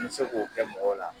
N be se k'o kɛ mɔgɔw la